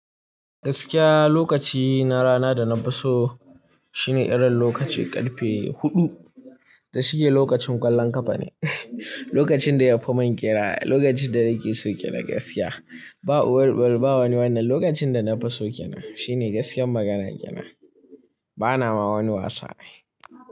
Gaskiya lokaci na rana da na fi so shine irin lokaci ƙarfe huɗu da shike lokacin ƙwallon ƙafa ne. Lokacin da ya fi mun kenan, lokacin da nake so kenan gaskiya. Ba uwar bari ba wani wannan lokacin da na fi so kenan shine gaskiyar maganar kenan. Bana ma wani wasa ai.